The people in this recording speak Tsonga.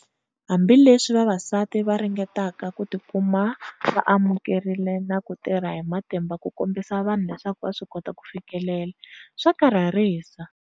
Hambileswi vavasati va ri ngetaka ku ti kuma va amukelekile na ku tirha hi matimba ku kombisa vanhu leswaku va swi kota ku fikelela, swa karharisa.